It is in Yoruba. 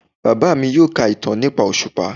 Baba mi yoo ka itan nipa oṣupa